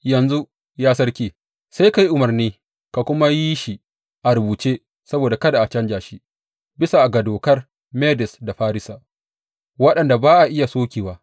Yanzu, ya sarki, sai ka yi umarni ka kuma yi shi a rubuce saboda kada a canja shi, bisa ga dokar Medes da Farisa, waɗanda ba a iya sokewa.